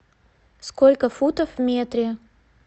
сколько футов в метре